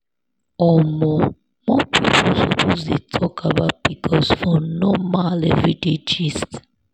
omo more people suppose dey talk about pcos for normal everyday gist.